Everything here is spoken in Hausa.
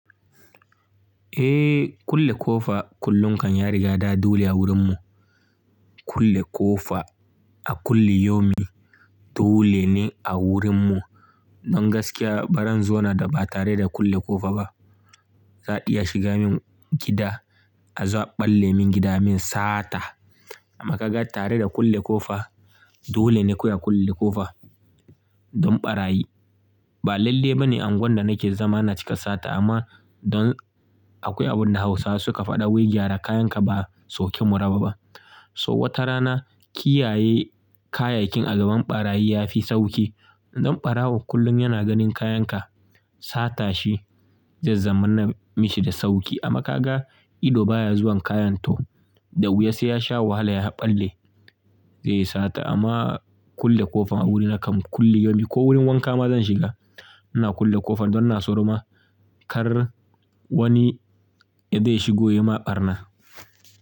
Eh, kulle ƙofa kullum kan ya riga da dole a wurin mu. Kulle ƙofa a kulli yomi dole ne a wurin mu. Nan gaskiya baran zona da ba tare da kulle ƙofa ba, za'a iya shiga min gida a zo a ɓalle min gida, a min sata. Amma ka ga tare da kulle ƙofa, dole ne kawai a kulle ƙofa don ɓarayi. Ba lalle ba ne angwan da nake zama a na cika sata amma don akwai abin da Hausawa suka faɗa "Wai gyara kayan ka ba sauke muraba ba" so wata rana kiyaye kayakin a gaban ɓarayi ya fi sauki. Don ɓarawo kullum yana ganin kayan ka sata shi zai zama na mishi da sauki. Amma ka ga ido baya zuwan kayan to, da wuya sai ya sha wahala ya ɓalle zai yi sata. Amma kulle ƙofa a wurina kam kulli yomi ko wurin wanka ma zan shiga, ina kulle ƙofar don ina tsoro ma kar wani ya dai shigo ya ma ɓarna.